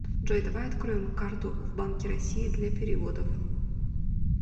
джой давай откроем карту в банке россии для переводов